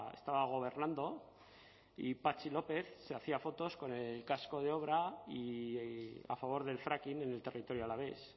estaba gobernando y patxi lópez se hacía fotos con el casco de obra y a favor del fracking en el territorio alavés